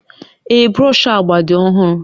Ee, brọsh agba dị ọhụrụ